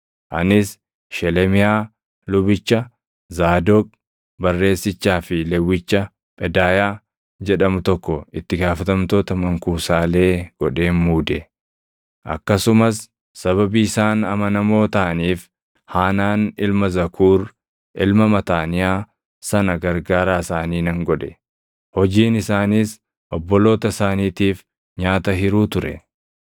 Anis Shelemiyaa lubicha, Zaadoq barreessichaa fi Lewwicha Phedaayaa jedhamu tokko itti gaafatamtoota mankuusaalee godheen muude; akkasumas sababii isaan amanamoo taʼaniif Haanaan ilma Zakuur, ilma Mataaniyaa sana gargaaraa isaanii nan godhe. Hojiin isaaniis obboloota isaaniitiif nyaata hiruu ture.